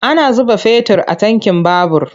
Ana zuba fetir a tankin babur.